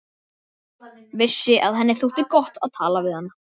Vissi að henni þótti gott að tala við hana.